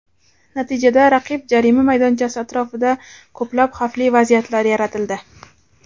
Natijada raqib jarima maydonchasi atrofida ko‘plab xavfli vaziyatlar yaratildi.